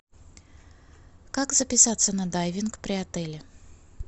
как записаться на дайвинг при отеле